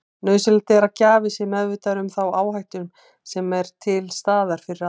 Nauðsynlegt er að gjafi sé meðvitaður um þá áhættu sem er til staðar fyrir aðgerð.